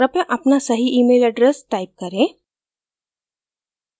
कृपया अपना सही email address टाइप करें